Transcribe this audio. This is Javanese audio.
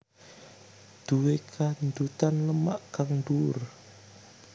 Duwe kandhutan lemak kang dhuwur